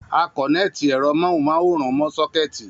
A kòneti ẹ̀rọ móhùn máwòrán mó sókètì